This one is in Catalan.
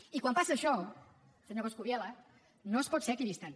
i quan passa això senyor coscubiela no es pot ser equidistant